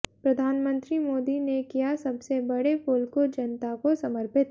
प्रधानमंत्री मोदी ने किया सबसे बड़े पुल को जनता को समर्पित